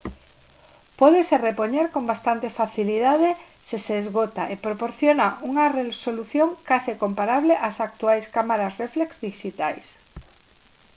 pódese repoñer con bastante facilidade se se esgota e proporciona unha resolución case comparable ás actuais cámaras réflex dixitais